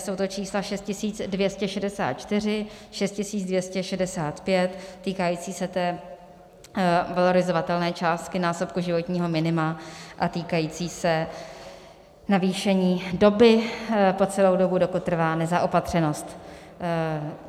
Jsou to čísla 6264, 6265, týkající se té valorizovatelné části násobku životního minima a týkající se navýšení doby, po celou dobu, dokud trvá nezaopatřenost.